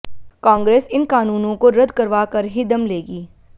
कांग्रेस इन कानूनों को रद्द करवा कर ही दम लेगी